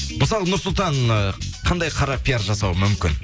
мысалы нұрсұлтан ы қандай қара пиар жасауы мүмкін